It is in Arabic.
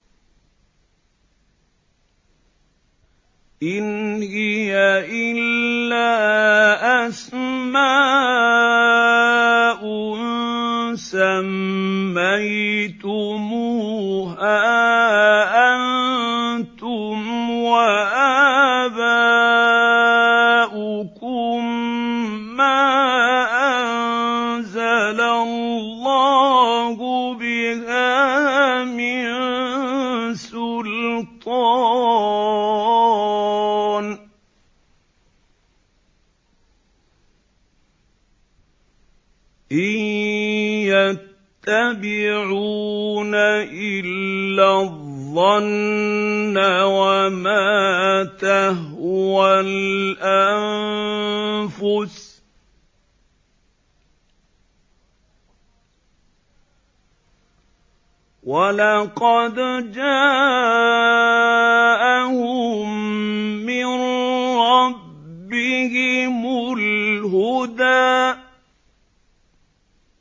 إِنْ هِيَ إِلَّا أَسْمَاءٌ سَمَّيْتُمُوهَا أَنتُمْ وَآبَاؤُكُم مَّا أَنزَلَ اللَّهُ بِهَا مِن سُلْطَانٍ ۚ إِن يَتَّبِعُونَ إِلَّا الظَّنَّ وَمَا تَهْوَى الْأَنفُسُ ۖ وَلَقَدْ جَاءَهُم مِّن رَّبِّهِمُ الْهُدَىٰ